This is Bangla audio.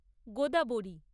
গোদাবরী